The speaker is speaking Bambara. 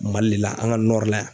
Mali le la an' ŋa la yan